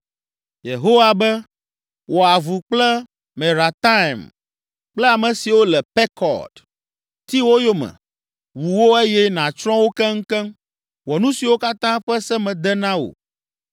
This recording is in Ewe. Yehowa be, “Wɔ avu kple Merataim kple ame siwo le Pekod. Ti wo yome, wu wo eye nàtsrɔ̃ wo keŋkeŋ. Wɔ nu siwo katã ƒe se mede na wò.